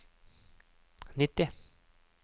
nitti